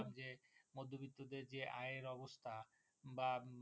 বিদ্যুতের যে আয়ের অবস্থা বা